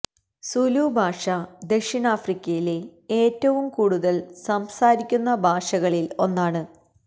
സുലു ഭാഷ ദക്ഷിണാഫ്രിക്കയിലെ ഏറ്റവും കൂടുതൽ സംസാരിക്കുന്ന ഭാഷകളിൽ ഒന്നാണ്